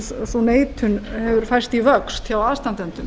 sú neitun hefur færst í vöxt hjá aðstandendum